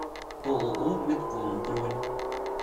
ооо метком бронь